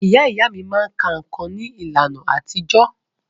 Ìyá ìyá mí máa ka nǹkan ní ìlànà àtijọ́.